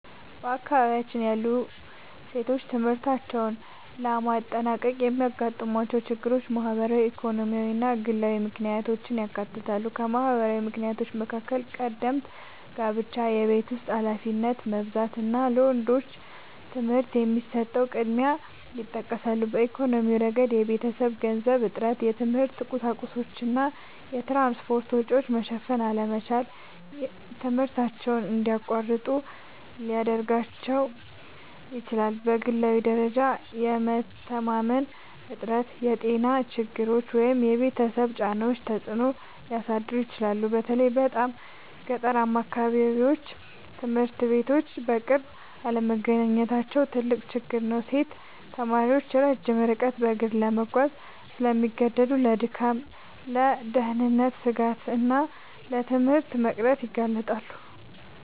በአካባቢያችን ያሉ ሴቶች ትምህርታቸውን ለማጠናቀቅ የሚያጋጥሟቸው ችግሮች ማህበራዊ፣ ኢኮኖሚያዊ እና ግላዊ ምክንያቶችን ያካትታሉ። ከማህበራዊ ምክንያቶች መካከል ቀደምት ጋብቻ፣ የቤት ውስጥ ኃላፊነት መብዛት እና ለወንዶች ትምህርት የሚሰጠው ቅድሚያ ይጠቀሳሉ። በኢኮኖሚያዊ ረገድ የቤተሰብ የገንዘብ እጥረት፣ የትምህርት ቁሳቁሶች እና የትራንስፖርት ወጪ መሸፈን አለመቻል ትምህርታቸውን እንዲያቋርጡ ሊያደርጋቸው ይችላል። በግላዊ ደረጃም የመተማመን እጥረት፣ የጤና ችግሮች ወይም የቤተሰብ ጫናዎች ተጽዕኖ ሊያሳድሩ ይችላሉ። በተለይ በጣም ገጠራማ አካባቢዎች ትምህርት ቤቶች በቅርብ አለመገኘታቸው ትልቅ ችግር ነው። ሴት ተማሪዎች ረጅም ርቀት በእግር ለመጓዝ ስለሚገደዱ ለድካም፣ ለደህንነት ስጋት እና ለትምህርት መቅረት ይጋለጣሉ